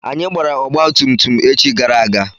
Anyị gbara ọgba tum tum echi gara aga.